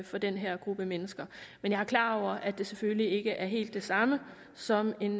for den her gruppe mennesker men jeg er klar over at det selvfølgelig ikke er helt det samme som en